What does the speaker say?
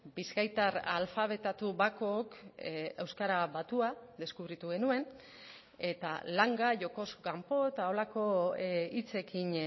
bizkaitar alfabetatu bakook euskara batua deskubritu genuen eta langa jokoz kanpo eta holako hitzekin